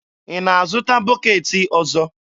Ị na-azụta bọketị ọzọ?